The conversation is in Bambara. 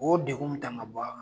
O ye degu mi tan ka bɔ a kan